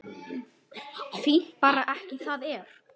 Er það ekki bara fínt?